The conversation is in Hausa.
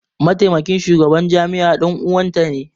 Mataimakin shugaban jami'ar dan uwanta ne.